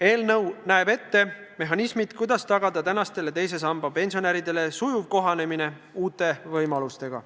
Eelnõu näeb ette mehhanismid, kuidas tagada tänastele teise samba pensionäridele sujuv kohanemine uute võimalustega.